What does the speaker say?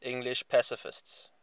english pacifists